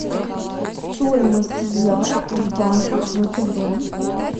стоимость евро в банках втб